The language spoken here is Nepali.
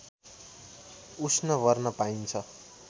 उष्ण वर्ण पाइन्छ